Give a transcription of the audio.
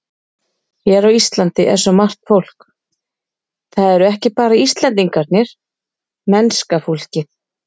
Hér á Íslandi er svo margt fólk, það eru ekki bara Íslendingarnir, mennska fólkið.